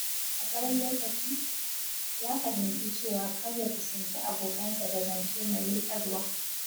A tsawon lokaci, ya fahimci cewa kar ya kusanci abokansa da zance mai ruɗarwa.